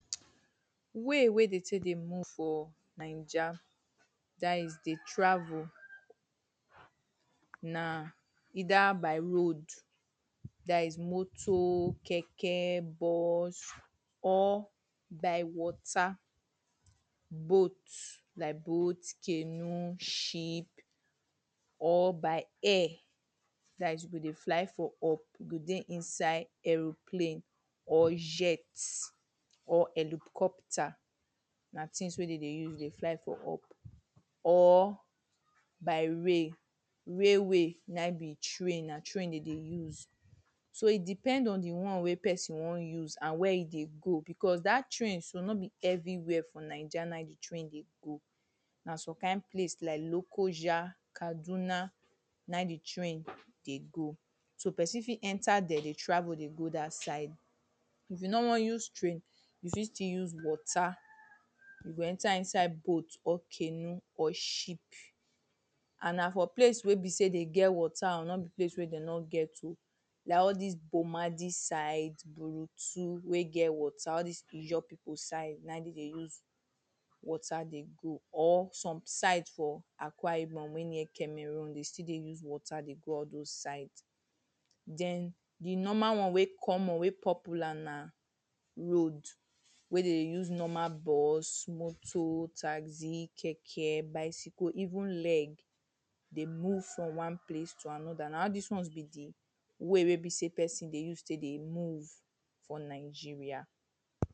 way we de tek dey move for niger for dat is de travel na either by road dat is motor, keke, bus, or by water boat, like boat canoe, ship or by air dat is you go dey fly for up you go dey inside aeroplane or jet or helicopter na tins wey de dey use dey fly for up or by rail rail way nain be train na train de dey use so e depend on di won wey pesin won use and where e dey go because dat train so no be everywhere for niger nain di train dey go. like son kind place like lokoja, kaduna, nain di train dey go so pesin fit enter dem dey travel dey go dat side if you no won use train you fit still use water you go enter inside boat, or canoe or ship and na for place wey be sey den get water oh no be place we de no get oh like all dis boma dis side borutu wey get water all dis ijaw pipu side nain de dey use water dey go or some side for akwa ibom wey near cameroon de still dey us water dey go all those side den di normal won we common we popular na road we de dey use normal bus, motor, taxi, keke, bicycle, even leg de move from won place to anoda na all dis won be di way wey be sey persin tek dey move for nigeria